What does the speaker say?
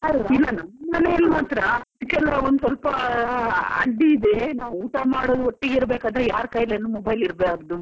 ಇಲ್ಲ ನಮ್ಮ್ ಮನೆಯಲ್ಲಿ ಮಾತ್ರ ಅದಿಕ್ಕೆಲ್ಲಾ ಒಂದ್ ಸ್ವಲ್ಪ ಅಡ್ಡಿ ಇದೆ ನಾವ್ ಊಟ ಮಾಡ್ವಾಗ ಒಟ್ಟಿಗೆ ಇರ್ಬೇಕಾದ್ರೆ ಯಾರ್ ಕೈಯಲ್ಲಿ mobile ಇರ್ಬಾರ್ದು ಅಂತ.